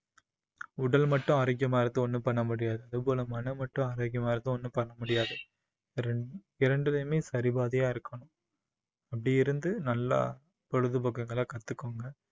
உடல் மட்டும் ஆரோக்கியமா இருந்து ஒண்ணும் பண்ண முடியாது அதுபோல மனம் மட்டும் ஆரோக்கியமா இருந்து ஒண்ணும் பண்ண முடியாது இரண்~ இரண்டிலேயுமே சரிபாதியா இருக்கணும் அப்படி இருந்து நல்லா பொழுதுபோக்குகளை கத்துக்கோங்க